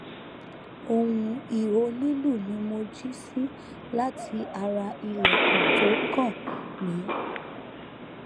ohun iho lilu ni mo ji si lati ara ilẹkun to kan mi